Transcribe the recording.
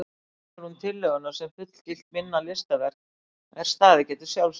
Iðulega vinnur hún tillöguna sem fullgilt minna listaverk er staðið geti sjálfstætt.